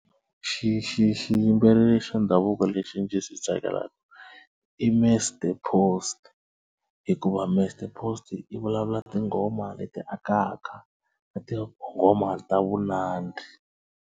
Xi xi xi xiyimbeleri xa ndhavuko lexi ndzi xi tsakelaka i Mr Post hikuva Mr Post i vulavula tinghoma leti akaka na tinghoma ta vunandzi.